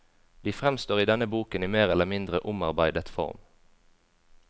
De fremstår i denne boken i mer eller mindre omarbeidet form.